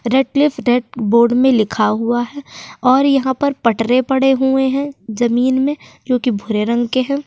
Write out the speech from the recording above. Red cliff red board में लिखा हुआ है और यहाँ पर पटरे पड़े हुए हैं जमीन में जोकि भूरे रंग के हैं।